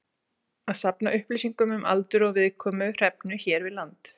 Að safna upplýsingum um aldur og viðkomu hrefnu hér við land.